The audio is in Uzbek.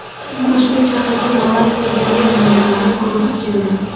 Toshkent shahriga Malayziya diniy ulamolari guruhi keldi.